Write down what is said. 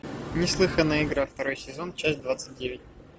неслыханная игра второй сезон часть двадцать девять